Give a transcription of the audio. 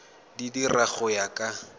di dira go ya ka